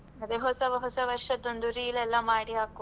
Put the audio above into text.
ಅದೇ ಹೊಸ ವರ್ಷದೊಂದು reel ಎಲ್ಲ ಮಾಡಿ ಹಾಕ್ವ.